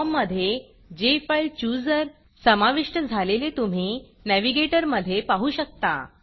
फॉर्ममधे जेफाईलचूजर समाविष्ट झालेले तुम्ही Navigatorनॅविगेटर मधे पाहू शकता